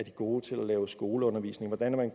gode til at lave skoleundervisning hvordan man